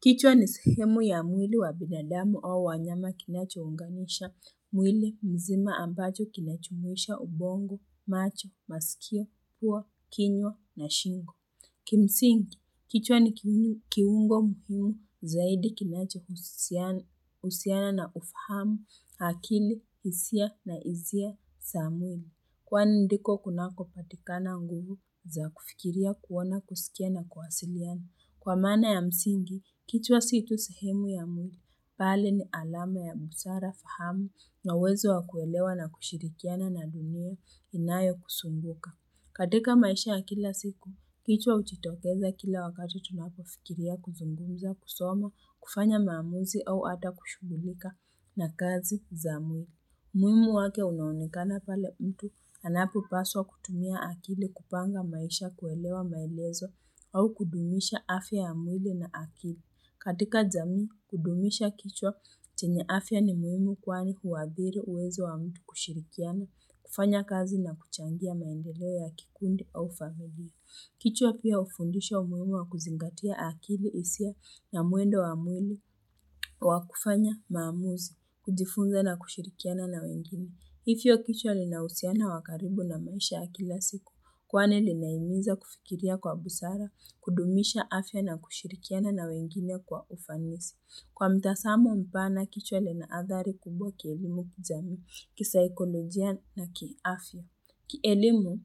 Kichwa ni sehemu ya mwili wa binadamu au wanyama kinachounganisha mwili mzima ambacho kinajumuisha ubongo, macho, masikio, pua, kinywa na shingo. Kimsingi, kichwa ni kiungo mkuu zaidi kinachohusiana na ufahamu akili, hisia na izia za mwili. Kwani ndiko kunako patikana nguvu za kufikiria kuona kusikia na kuwasiliana. Kwa maana ya msingi, kichwa si tu sehemu ya mwili, bali ni alama ya busara fahamu na uwezo wa kuelewa na kushirikiana na dunia inayo kuzunguka. Katika maisha ya kila siku, kichwa hutitokeza kila wakati tunapofikiria kuzungumza, kusoma, kufanya maamuzi au ata kushughulika na kazi za mungu. Umuhimu wake unaonekana pale mtu, anapo paswa kutumia akili kupanga maisha kuelewa maelezo au kudumisha afya ya mwili na akili. Katika jamii, kudumisha kichwa chenye afya ni muhimu kwani huadhiri uwezo wa mtu kushirikiana, kufanya kazi na kuchangia maendeleo ya kikundi au familia. Kichwa pia hufundisha umuhimu wa kuzingatia akili hisia na mwendo wa mwili wa kufanya maamuzi, kujifunza na kushirikiana na wengine. Hivyo kichwa lina uhusiano wa karibu na maisha ya kila siku, kwani linahimiza kufikiria kwa busara, kudumisha afya na kushirikiana na wengine kwa ufanisi. Kwa mtazamu mpana, kichwa lina adhari kubwa kielimu kijamii, kisaikolojia na kiafya. Kielimu,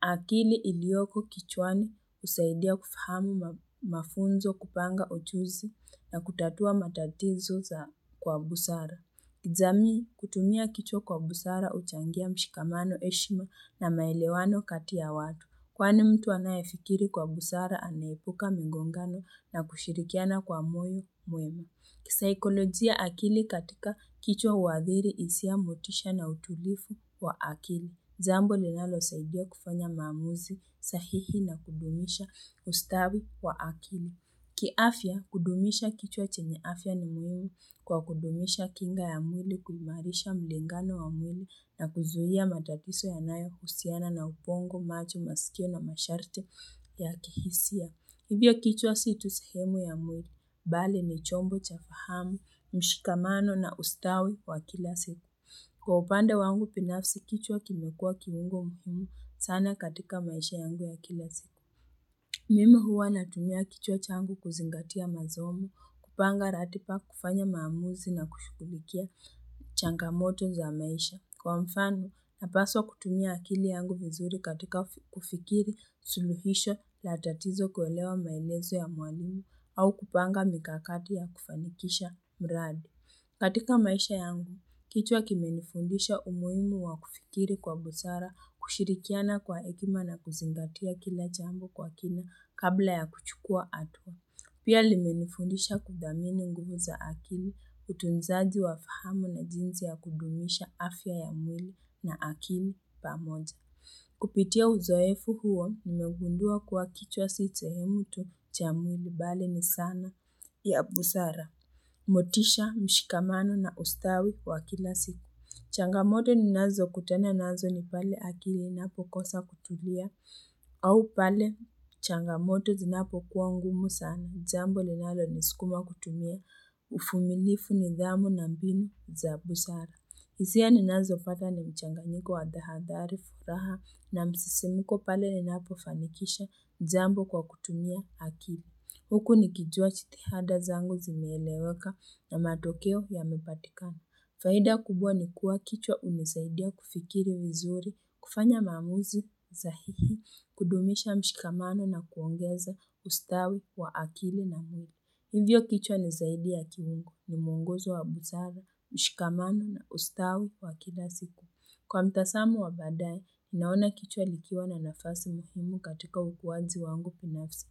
akili ilioko kichwani husaidia kufahamu mafunzo kupanga ujuzi na kutatua matatizo za kwa busara. Kijamii, kutumia kichwa kwa busara huchangia mshikamano heshima na maelewano kati ya watu. Kwani mtu anayefikiri kwa busara anaepuka migongano na kushirikiana kwa moyo mwema. Kisaikolojia akili katika kichwa huadhiri hisia motisha na utulivu wa akili. Jambo linalosaidia kufanya maamuzi, sahihi na kudumisha ustawi wa akili. Kiafya, kudumisha kichwa chenye afya ni muhimu kwa kudumisha kinga ya mwili kuimarisha mlingano wa mwili na kuzuia matatizo yanayohusiana na ubongo macho masikio na masharti ya kihisia. Hivyo kichwa si tu sehemu ya mwili, bali ni chombo cha fahamu, mshikamano na ustawi wa kila siku. Kwa upande wangu binafsi kichwa kimekua kiungo muhimu sana katika maisha yangu ya kila siku. Mimi huwa natumia kichwa changu kuzingatia masomo, kupanga ratiba kufanya maamuzi na kushughulikia changamoto za maisha. Kwa mfano, napaswa kutumia akili yangu vizuri katika kufikiri suluhisho la tatizo kuelewa maelezo ya mwalimu au kupanga mikakati ya kufanikisha mradi. Katika maisha yangu, kichwa kimenifundisha umuhimu wa kufikiri kwa busara kushirikiana kwa hekima na kuzingatia kila jambo kwa kina kabla ya kuchukua hatua. Pia limenifundisha kudhamini nguvu za akili utunzaji wa fahamu na jinsi ya kudumisha afya ya mwili na akili pamoja. Kupitia uzoefu huo nimegundua kuwa kichwa si sehemu tu cha mwili bali ni zana ya busara. Motisha, mshikamano na ustawi kwa kila siku Changamoto ninazokutana nazo ni pale akili inapo kosa kutulia au pale changamoto zinapokuwa ngumu sana jambo linalo niskuma kutumia uvumilifu nidhamu na mbinu za busara hisia ninazopata ni mchanganyiko wa hadhari furaha na msisimko pale ninapofanikisha jambo kwa kutumia akili Huku nikijua jitihada zangu zimeeleweka na matokeo yamepatikana. Faida kubwa ni kuwa kichwa hunisaidia kufikiri vizuri, kufanya maamuzi, sahihi, kudumisha mshikamano na kuongeza ustawi wa akili na nuru. Hivyo kichwa ni zaidi ya kiungo ni muongozo wa busara, mshikamano na ustawi wa kila siku. Kwa mtazamu wa baadae, naona kichwa likiwa na nafasi muhimu katika ukuwaji wangu binafsi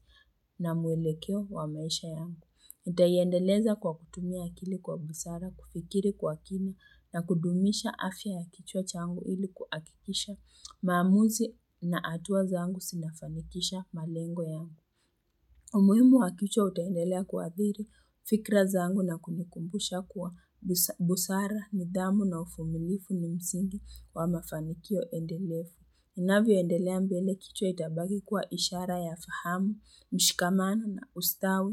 na muelekeo wa maisha yangu. Nitaiendeleza kwa kutumia akili kwa busara, kufikiri kwa kina na kudumisha afya ya kichwa changu ili kuhakikisha maamuzi na hatua zangu zinafanikisha malengo yangu. Umuhimu wa kichwa utaendelea kuadhiri, fikra zaangu na kunikumbusha kuwa busara, nidhamu na uvumilivu ni msingi wa mafanikio endelevu. Ninavyoendelea mbele kichwa itabaki kuwa ishara ya fahamu, mshikamano na ustawi.